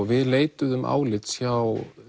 við leituðum álits hjá